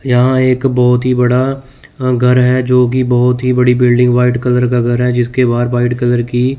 यहां एक बहुत ही बड़ा घर है जो की बहुत ही बड़ी बिल्डिंग व्हाइट कलर का घर है जिसके बाहर व्हाइट कलर की --